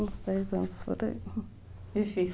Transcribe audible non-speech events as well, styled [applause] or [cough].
Uns dez anos [unintelligible] difícil